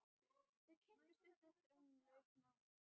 Þau kynntust stuttu eftir að hún lauk námi.